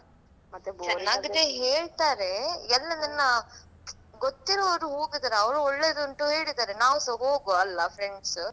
ಚೆನ್ನಾಗಿದೆ ಹೇಳ್ತಾರೆ ಎಲ್ಲಾ ನನ್ನ ಗೊತ್ತಿರುವುದು ಹೋಗುದು ಅವರು ಒಳ್ಳೆದುಂಟು ಹೇಳಿದರೆ ನಾವ್‌ ಸ ಹೋಗುವಲ್ಲಾ friends .